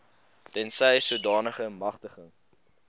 tensy sodanige magtiging